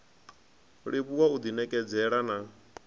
livhuwa u ḓi ṋekedzela na